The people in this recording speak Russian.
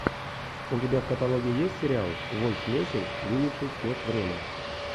у тебя в каталоге есть сериал вольф мессинг видевший сквозь время